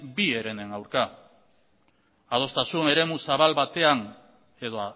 bi herenen aurka adostasun eremu zabal batean edo